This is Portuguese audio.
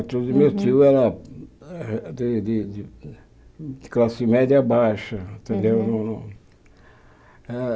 O tio do meu tio era de de de classe média baixa, entendeu?